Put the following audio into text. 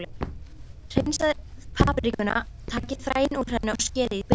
Hreinsið paprikuna, takið fræin úr henni og skerið í bita.